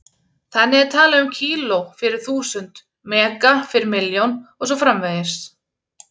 Þannig er talað um kíló- fyrir þúsund, mega- fyrir milljón og svo framvegis.